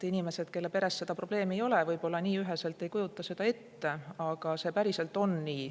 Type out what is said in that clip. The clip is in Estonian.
Inimesed, kelle peres seda probleemi ei ole, võib-olla nii üheselt ei kujuta seda ette, aga see päriselt on nii.